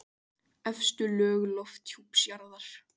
Efstu lög lofthjúps jarðar.